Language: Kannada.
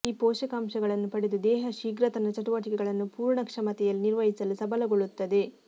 ಈ ಪೋಷಕಾಂಶಗಳನ್ನು ಪಡೆದ ದೇಹ ಶೀಘ್ರ ತನ್ನ ಚಟುವಟಿಕೆಗಳನ್ನು ಪೂರ್ಣ ಕ್ಷಮತೆಯಲ್ಲಿ ನಿರ್ವಹಿಸಲು ಸಬಲಗೊಳ್ಳುತ್ತದೆ